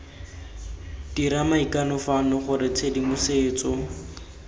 dira maikano fano gore tshedimosetso